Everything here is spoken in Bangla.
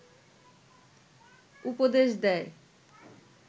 উপদেশ দেয়